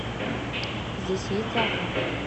здесь есть зоопарк